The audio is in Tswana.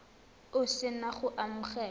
o se na go amogela